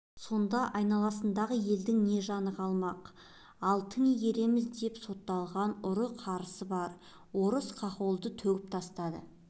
сонда айналасындағы елдің не жаны қалмақ ал тың игереміз деп сотталған ұры-қарысы бар орыс-хохолды төгіп тастады